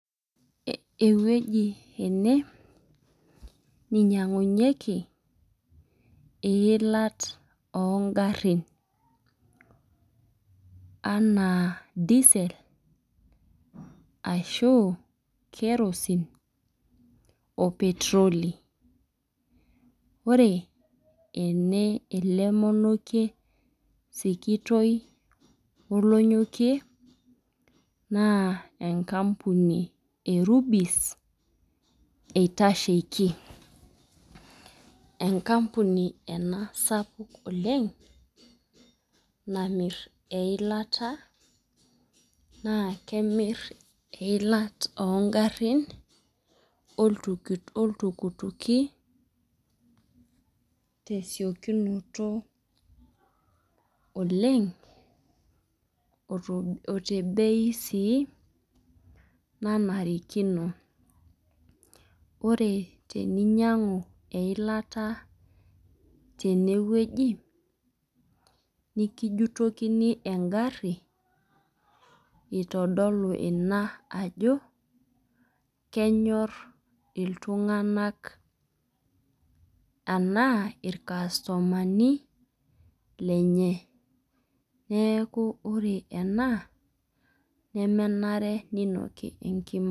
Ewueji ene, neinyangunyeki eilat oo garin. Enaa diesel ashu, kerosene oo petroli . Ore ele monokie sikitoi olonyokie naa, enkampuni eh Rubis eitasheiki. Enkampuni ena sapuk oleng namir eilata naa kemir ilat oo garin oltukutuki tesiokinoto oleng otebei sii nanarikino. Ore teninyangu eilata tenewueji nikijutokini egari eitodolu ina ajo kenyor iltunganak, enaa irkastumani lenye. Neaku ore ena nemenare ninoki ekima.